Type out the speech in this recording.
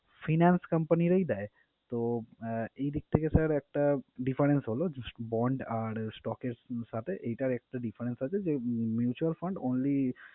Finance company রাই দেয়। তো, আহ এই দিক থেকে sir একটা difference হলো bond আর stock এর সাথে এইটার একটা difference আছে যে mutual fund only